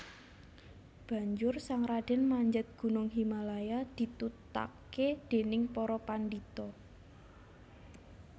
Banjur sang radèn manjat gunung Himalaya ditutaké dèning para pandhita